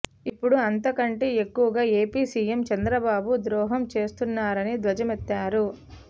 ఇపుడు అంతకంటే ఎక్కువగా ఏపీ సీఎం చంద్రబాబు ద్రోహం చేస్తున్నారని ధ్వజమెత్తారు